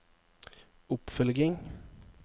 oppfølging